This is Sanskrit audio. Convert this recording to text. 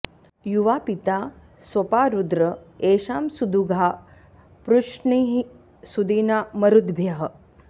युवा॑ पि॒ता स्वपा॑ रु॒द्र ए॑षां सु॒दुघा॒ पृश्निः॑ सु॒दिना॑ म॒रुद्भ्यः॑